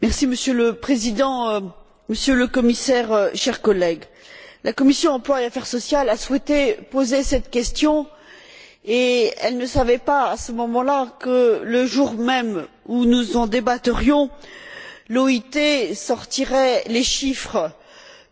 Monsieur le Président, Monsieur le Commissaire, chers collègues, la commission de l'emploi et des affaires sociales a souhaité poser cette question, et elle ne savait pas, à ce moment là, que le jour même où nous en débattrions, l'OIT sortirait les chiffres